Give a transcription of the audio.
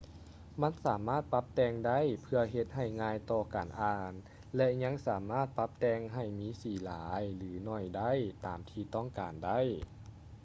ມັນສາມາດປັບແຕ່ງໄດ້ເພື່ອເຮັດໃຫ້ງ່າຍຕໍ່ການອ່ານ ແລະ ຍັງສາມາດປັບແຕ່ງໃຫ້ມີສີຫຼາຍ ຫຼື ໜ້ອຍໄດ້ຕາມທີ່ຕ້ອງການໄດ້